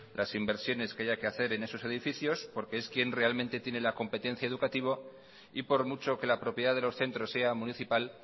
las inversiones que haya que hacer en esos edificios porque es quien realmente tiene la competencia educativa y por mucho que la propiedad de los centros sea municipal